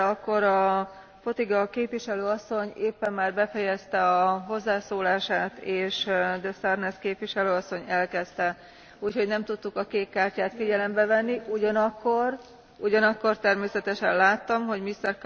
De akkor a Fotyga képviselő asszony éppen már befejezte a hozzászólását és de Sarnez képviselő asszony elkezdte. Úgyhogy nem tudtuk a kék kártyát figyelembe venni, ugyanakkor természetesen láttam, hogy Mr.